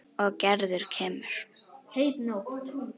Og Gerður kemur.